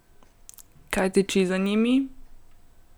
Kaj tiči za njimi?